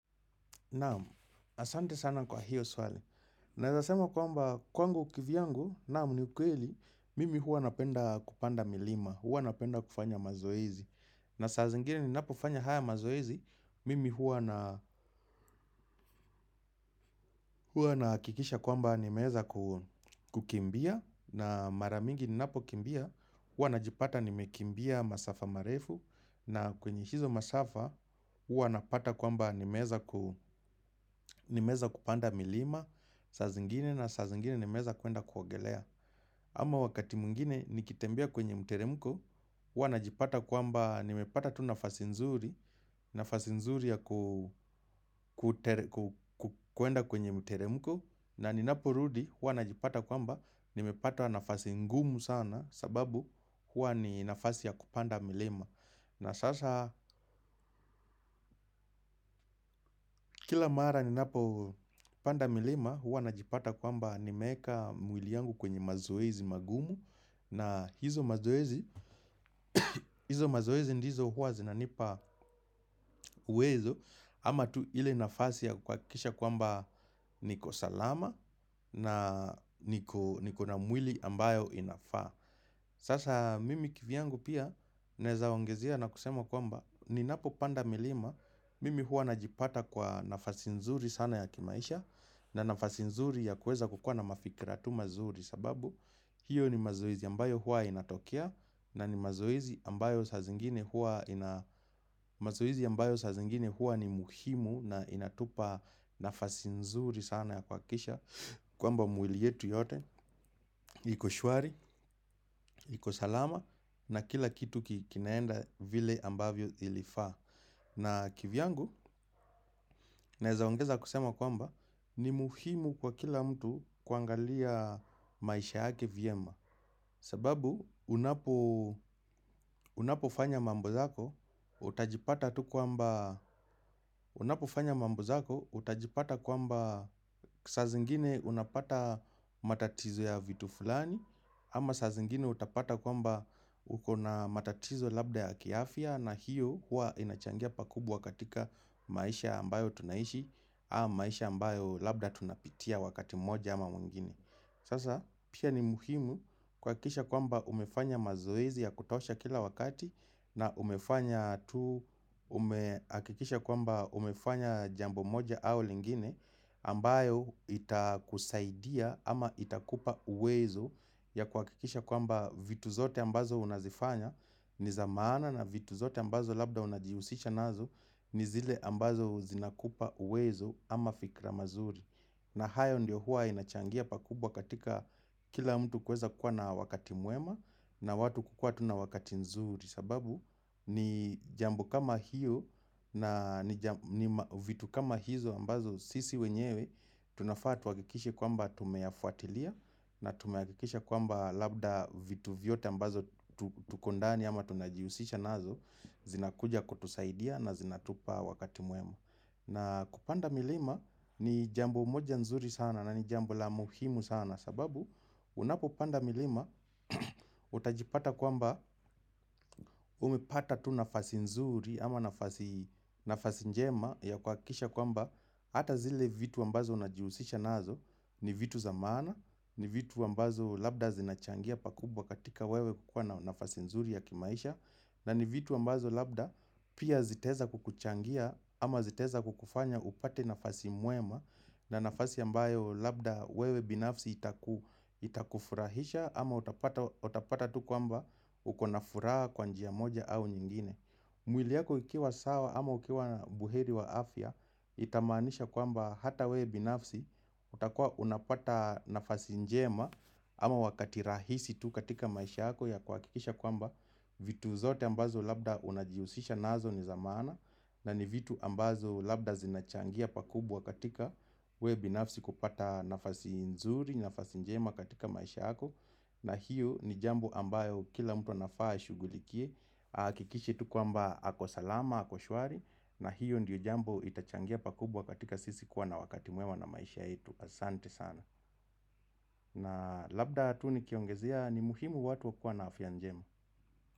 Naam, asante sana kwa hiyo swali. Naeza sema kwamba kwangu kivyangu, naam ni ukweli, mimi huwa napenda kupanda milima, huwa napenda kufanya mazoezi. Na saa zingine ninapofanya haya mazoezi, mimi huwa na hua nahakikisha kwamba nimeweza kukimbia, na mara mingi ninapokimbia, huwa najipata nimekimbia masafa marefu, na kwenye hizo masafa huwa napata kwamba nimeweza nimeza kupanda milima. Saa zingine na saa zingine nimeweza kwenda kuogelea Ama wakati mwingine nikitembea kwenye mteremko huwa najipata kwamba nimepata tu nafasi nzuri nafasi nzuri ya kwenda kwenye mteremko na ninaporudi huwa najipata kwamba nimepata nafasi ngumu sana sababu huwa ni nafasi ya kupanda milima na sasa, kila mara ninapopanda milima huwa najipata kwamba nimeweka mwili yangu kwenye mazoezi magumu na hizo mazoezi, hizo mazoezi ndizo huwa zinanipa uwezo ama tu ile nafasi ya kuhakikisha kwamba niko salama na niko na mwili ambayo inafaa sasa mimi kivyangu pia, naeza ongezea na kusema kwamba ninapopanda milima, mimi huwa najipata kwa nafasi nzuri sana ya kimaisha na nafasi nzuri ya kuweza kukua na mafikira tu mazuri sababu hiyo ni mazoezi ambayo huwa inatokea na ni mazoezi ambayo saa zingine huwa ina mazoezi ambayo saa zingine huwa ni muhimu na inatupa nafasi nzuri sana ya kuhakikisha kwamba mwili yetu yote, iko shwari, iko salama na kila kitu kinaenda vile ambavyo ilifaa na kivyangu, naeza ongeza kusema kwamba ni muhimu kwa kila mtu kuangalia maisha hyake vyema sababu unapofanya mambo zako utajipata tu kwamba saa zingine unapata matatizo ya vitu fulani Ama saa zingine utapata kwamba ukona matatizo labda ya kiafya, na hiyo huwa inachangia pakubwa katika maisha ambayo tunaishi haya maisha ambayo labda tunapitia wakati mmoja ama mwingine Sasa pia ni muhimu kuhakikisha kwamba umefanya mazoezi ya kutosha kila wakati na umefanya tu umehakikisha kwamba umefanya jambo moja au lingine ambayo itakusaidia ama itakupa uwezo ya kuhakikisha kwamba vitu zote ambazo unazifanya ni za maana na vitu zote ambazo labda unajihusisha nazo ni zile ambazo zinakupa uwezo ama fikra mazuri na hayo ndio huwa inachangia pakubwa katika kila mtu kuweza kuwa na wakati mwema na watu kukua tu na wakati nzuri sababu ni jambo kama hiyo na vitu kama hizo ambazo sisi wenyewe tunafaa tuhakikishe kwamba tumeyafuatilia na tumehakikisha kwamba labda vitu vyote ambazo tuko ndani ama tunajihusisha nazo zinakuja kutusaidia na zinatupa wakati mwema na kupanda milima ni jambo moja nzuri sana na ni jambo la muhimu sana, sababu unapopanda milima utajipata kwamba umepata tu nafasi nzuri ama nafasi njema ya kuhakikisha kwamba hata zile vitu ambazo unajihusisha nazo ni vitu za maana, ni vitu ambazo labda zinachangia pakubwa katika wewe kukua na nafasi nzuri ya kimaisha na ni vitu ambazo labda pia zitaeza kukuchangia ama zitaeza kukufanya upate nafasi mwema na nafasi ambayo labda wewe binafsi itaku itakufurahisha ama utapata tu kwamba ukona furaa kwa njia moja au nyingine mwili yako ikiwa sawa ama ukiwa buheri wa afya Itamaanisha kwamba hata we binafsi utakua unapata nafasi njema Ama wakati rahisi tu katika maisha yako ya kuhakikisha kwamba vitu zote ambazo labda unajihusisha nazo ni za maana, na ni vitu ambazo labda zinachangia pakubwa katika wewe binafsi kupata nafasi nzuri, nafasi njema katika maisha yako na hiyo ni jambo ambayo kila mtu anafaa ashughulikie hakikishe tu kwamba ako salama, ako swari. Na hiyo ndiyo jambo itachangia pakubwa katika sisi kuwa na wakati mwema na maisha yetu. Asante sana na labda tu nikiongezea ni muhimu watu wakiwa na afya njema.